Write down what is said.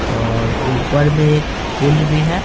और ऊपर में एक पुल भी है।